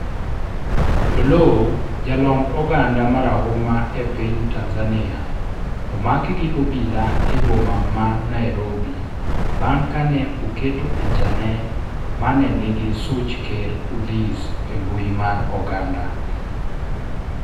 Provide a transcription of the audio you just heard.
Oloo, jalomb oganda marahuma epiny Tanzania omak gi obila e boma ma Nairobi bang' kane oketo pichane mane nigi such ker Odhis e mbui mar oganda